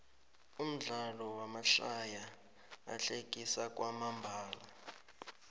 umdlalo wamahlaya uhlekisa kwamambalo